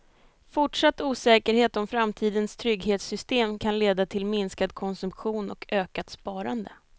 Fortsatt osäkerhet om framtidens trygghetssystem kan leda till minskad konsumtion och ökat sparande.